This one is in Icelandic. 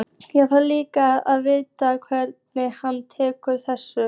Ég þarf líka að vita hvernig hann tekur þessu.